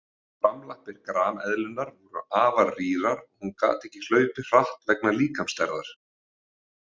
Framlappir grameðlunnar voru afar rýrar og hún gat ekki hlaupið hratt vegna líkamsstærðar.